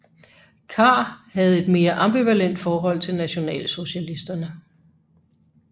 Kahr havde et mere ambivalent forhold til nationalsocialisterne